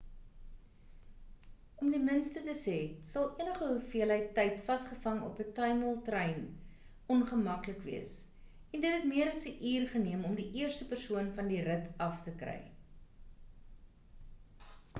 om die minste te sê sal enige hoeveelheid tyd vasgevang op 'n tuimeltrein ongemaklik wees en dit het meer as 'n uur geneem om die eerste persoon van die rit af te kry